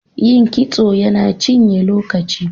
Yin kitso yana cinye lokaci.